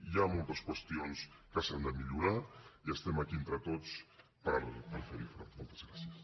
hi ha moltes qüestions que s’han de millorar i estem aquí entre tots per fer hi front